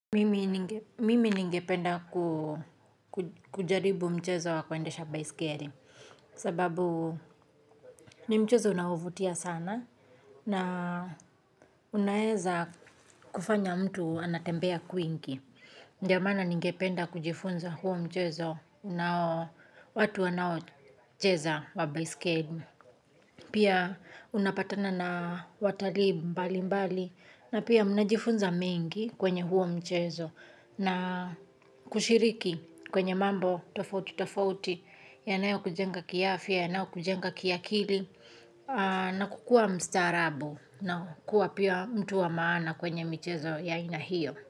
Mimi ningependa kujaribu mchezo wa kuendesha baiskeli kwa sababu ni mchezo unaovutia sana na unaweza kufanya mtu atembee kwingi. Ndiyo maana ningependa kujifunza huo mchezo na watu wanaocheza baiskeli. Pia, unapatana na watalii mbalimbali na pia mnajifunza mengi kwenye huo mchezo. Na kushiriki kwenye mambo tofauti tofauti, yanayokujenga kiafya, yanayokujenga kiakili, na kukua kistaarabu na kuwa pia mtu wa maana kwenye mchezo huo.